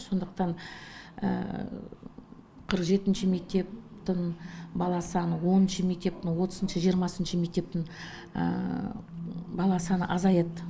сондықтан қырық жетінші мектептің бала саны оныншы мектептің отызыншы жиырмасыншы мектептің бала саны азаяды